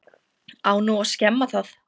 Á nú að skemma það?